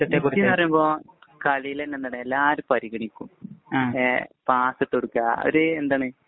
Messi എന്നുപറയുമ്പോള്‍ കളീല് തന്നെ എന്താണ് എല്ലാരും പരിഗണിക്കും. പാസിട്ടു കൊടുക്കുക. ഒരു എന്താണ് മൂപ്പര് .വലിയ ആളാണെന്ന ചിന്ത നമ്മള്‍ക്കില്ല.